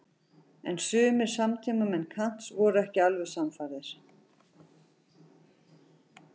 En sumir samtímamenn Kants voru ekki alveg sannfærðir.